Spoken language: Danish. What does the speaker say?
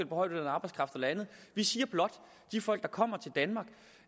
på højtlønnet arbejdskraft eller andet vi siger blot